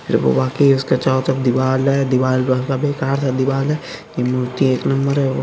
वाकी उसके चारों तरफ दीवाल है दीवाल बेकार सा दीवाल है ये मूर्ति एक नंबर है। और --